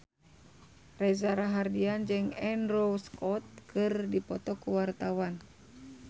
Reza Rahardian jeung Andrew Scott keur dipoto ku wartawan